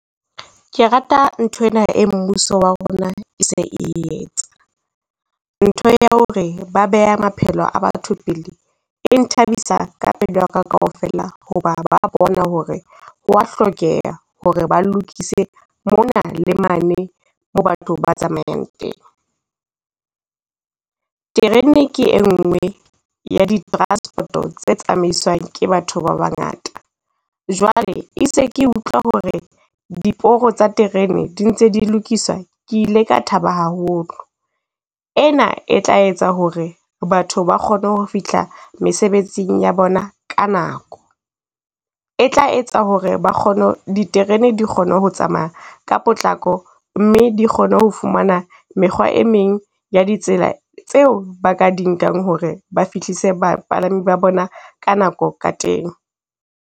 Ke rata nthwena e mmuso wa rona e se e etsa. Ntho ya ho re ba beha maphelo a batho pele, e nthabisa ka pelo ya ka kaofela ho ba ba bona ho re, ho wa hlokeha ho re ba lokise mona le mane mo batho ba tsamayang teng. Terene ke e nngwe ya di transport-o tsa tsamaiswang ke batho ba bangata, jwale e itse ke utlwa ho re diporo tsa terene di ntse di lokiswa, ke ile ka thaba haholo. Ena e tla etsa ho re batho ba kgone ho fihla mesebetsing ya bona ka nako, e tla etsa ho re ba kgone, diterene di kgone ho tsamaya ka potlako. Mme di kgone ho fumana mekgwa e meng ya ditsela tseo ba ka di nkang ho re ba fihlise bapalami ba bona ka nako ka teng.